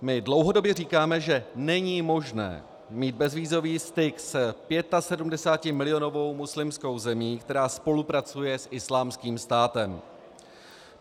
My dlouhodobě říkáme, že není možné mít bezvízový styk s 75milionovou muslimskou zemí, která spolupracuje s Islámským státem.